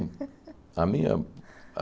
A minha